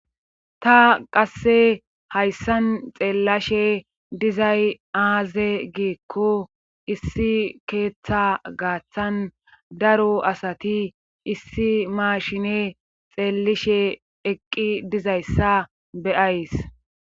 Ta qasse hayssan xeellashe dizay aaze giikko issi keeththa gaaththan daro asati issi maashine xeellishe eqqi dizayssa beyays.